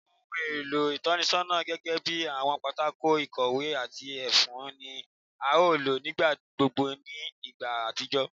Awọn ohun elo itọnisọna gẹgẹbi awọn pátákó ikowé ati efun ni a lo nigbagbogbo ni igba atijọ